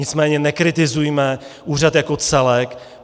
Nicméně nekritizujme úřad jako celek.